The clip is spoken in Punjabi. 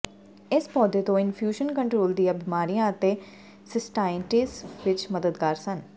ਇਸ ਪੌਦੇ ਤੋਂ ਇੰਫਿਊਸ਼ਨ ਕਟਰਰੋਲ ਦੀਆਂ ਬਿਮਾਰੀਆਂ ਅਤੇ ਸਿਸਟਾਈਟਿਸ ਵਿੱਚ ਮਦਦਗਾਰ ਸਨ